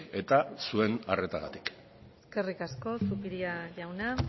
eta zuen arretagatik eskerrik asko zupiria jauna